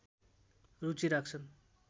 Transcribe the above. रुचि राख्छन्